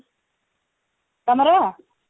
ତମର